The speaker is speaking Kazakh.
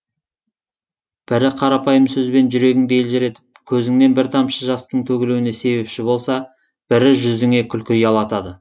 бірі қарапайым сөзбен жүрегіңді елжіретіп көзіңнен бір тамшы жастың төгілуіне себепші болса бірі жүзіңе күлкі ұялатады